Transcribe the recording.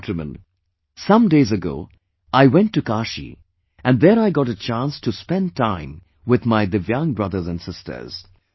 My dear countrymen, some days ago I went to Kashi and there I got a chance to spend time with my divyang brothers and sisters